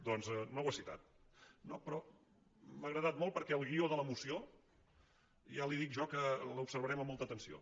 doncs no ho ha citat no però m’ha agradat molt perquè el guió de la moció ja li dic jo que l’observarem amb molta atenció